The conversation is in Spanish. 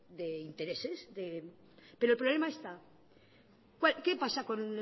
de intereses pero el problema está qué pasa con